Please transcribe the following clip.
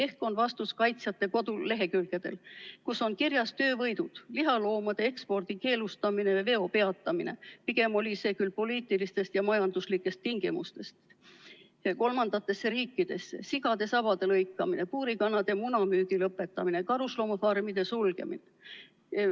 Ehk on vastus kaitsjate kodulehekülgedel, kus on kirjas töövõidud: lihaloomade kolmandatesse riikidesse ekspordi keelustamine ja selle veo peatamine – pigem tuli see küll poliitilistest ja majanduslikest tingimustest –, sigade sabade lõikamine, puurikanade munade müügi lõpetamine, karusloomafarmide sulgemine.